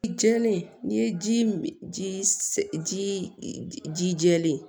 I jɛlen n'i ye ji ji ji ji jɛ jɛlen